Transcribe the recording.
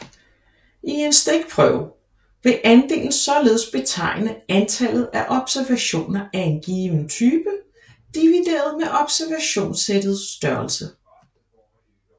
I en stikprøve vil andelen således betegne antallet af observationer af en given type divideret med observationssættets størrelse